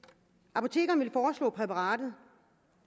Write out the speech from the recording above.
apotekerne foreslår præparatet